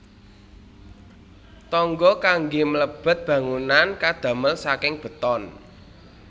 Tangga kanggé mlebet bangunan kadamel saking beton